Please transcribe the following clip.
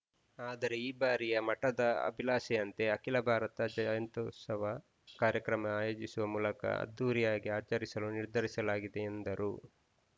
ಆದರೆ ಈ ಬಾರಿಯ ಮಠದ ಭಕ್ತರ ಆಭಿಲಾಷೆಯಂತೆ ಅಖಿಲ ಭಾರತ ಜಯಂತೋತ್ಸವ ಕಾರ್ಯಕ್ರಮ ಆಯೋಜಿಸುವ ಮೂಲಕ ಅದ್ಧೂರಿಯಾಗಿ ಆಚರಿಸಲು ನಿರ್ಧರಿಸಲಾಗಿದೆ ಎಂದರು